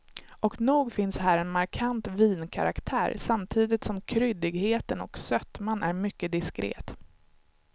Och nog finns här en markant vinkaraktär, samtidigt som kryddigheten och sötman är mycket diskret.